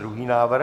Druhý návrh.